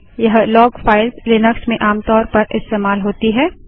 यह log files Linux में आमतौर पर इस्तेमाल होती है